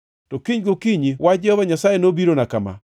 To kinyne gokinyi wach Jehova Nyasaye nobirona kama: